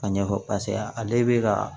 A ɲɛfɔ paseke ale be ka